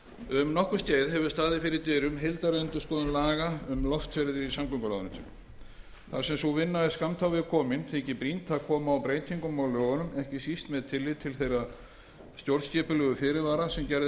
um nokkurt skeið hefur staðið fyrir dyrum heildarendurskoðun laga um loftferðir í samgönguráðuneytinu þar sem sú vinna er skammt á veg komin þykir brýnt að koma að breytingum á lögunum ekki síst með tillit til þeirra stjórnskipulegu fyrirvara sem gerðir hafa verið vegna innleiðingar